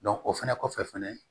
o fɛnɛ kɔfɛ fɛnɛ